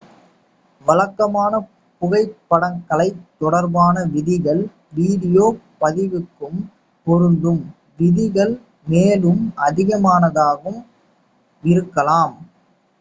வழக்கமான புகைப்படக்கலை தொடர்பான விதிகள் வீடியோ பதிவுக்கும் பொருந்தும் விதிகள் மேலும் அதிகமானதாகவும் இருக்கலாம்